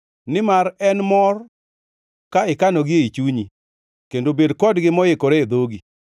nimar en mor ka ikanogi ei chunyi kendo bed kodgi moikore e dhogi.